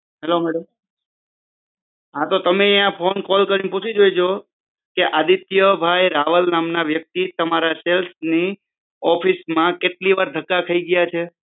hello madam હા તો તમે ત્યાં કોલ કરી ને પૂછી જોજો કે આદિત્યભાઈ રાવલ નામના વ્યક્તિ તમારા સેલ્સ ની ઓફિસમાં કેટલી વાર ધક્કા ખાઈ ગયા છે